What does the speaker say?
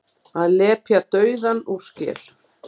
Að lepja dauðann úr skel